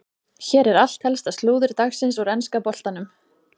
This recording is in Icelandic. Hér er allt helsta slúður dagsins úr enska boltanum.